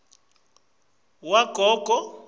umjumbula wagogo